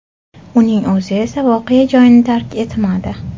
Uning o‘zi esa voqea joyini tark etmadi.